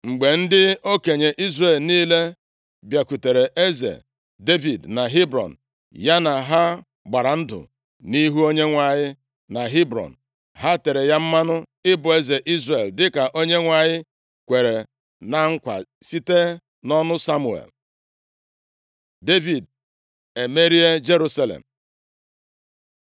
Mgbe ndị okenye Izrel niile bịakwutere eze Devid na Hebrọn, ya na ha gbara ndụ nʼihu Onyenwe anyị na Hebrọn. Ha tere ya mmanụ ịbụ eze Izrel, dịka Onyenwe anyị kwere na nkwa site nʼọnụ Samuel. Devid emerie Jerusalem